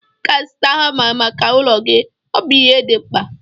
Ị ga-azụta hama maka ụlọ gị, ọ bụ ihe dị mkpa